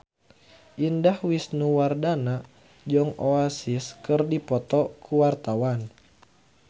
Indah Wisnuwardana jeung Oasis keur dipoto ku wartawan